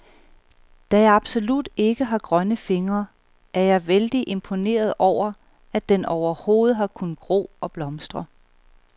Da jeg absolut ikke har grønne fingre, er jeg vældig imponeret over, at den overhovedet har kunnet gro og blomstre.